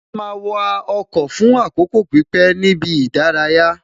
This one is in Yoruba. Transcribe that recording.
A máa wa ọkọ̀ fún àkókò pípé ní ibi ìdárayá